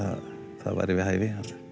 það væri við hæfi